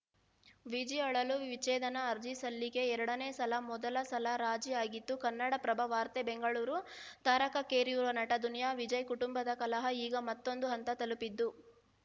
ವಿಜಿ ಅಳಲು ವಿಚ್ಛೇದನ ಅರ್ಜಿ ಸಲ್ಲಿಕೆ ಎರಡನೇ ಸಲ ಮೊದಲ ಸಲ ರಾಜಿ ಆಗಿತ್ತು ಕನ್ನಡಪ್ರಭ ವಾರ್ತೆ ಬೆಂಗಳೂರು ತಾರಕಕ್ಕೇರಿರುವ ನಟ ದುನಿಯಾ ವಿಜಯ್‌ ಕುಟುಂಬದ ಕಲಹ ಈಗ ಮತ್ತೊಂದು ಹಂತ ತಲುಪಿದ್ದು